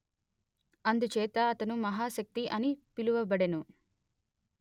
అందుచేత అతను మహాశక్తి అని పిలువబడెను